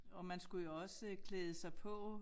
Og man skulle jo også øh klæde sig på